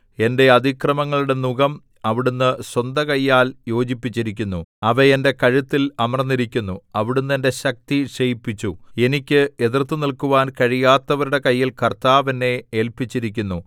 എന്റെ അതിക്രമങ്ങളുടെ നുകം അവിടുന്ന് സ്വന്തകയ്യാൽ യോജിപ്പിച്ചിരിക്കുന്നു അവ എന്റെ കഴുത്തിൽ അമർന്നിരിക്കുന്നു അവിടുന്ന് എന്റെ ശക്തി ക്ഷയിപ്പിച്ചു എനിക്ക് എതിർത്തുനില്ക്കുവാൻ കഴിയാത്തവരുടെ കയ്യിൽ കർത്താവ് എന്നെ ഏല്പിച്ചിരിക്കുന്നു